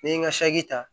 N'i ye n ka ta